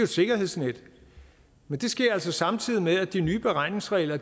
sikkerhedsnet men det sker altså samtidig med at de nye beregningsregler